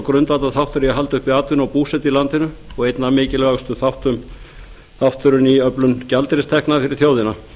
grundvallarþáttur í að halda uppi atvinnu og búsetu í landinu og einn mikilvægasti þátturinn í öflun gjaldeyristekna fyrir þjóðina